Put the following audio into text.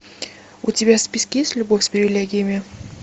у тебя в списке есть любовь с привилегиями